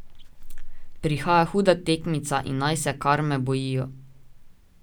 Prihaja huda tekmica in naj se kar me bojijo.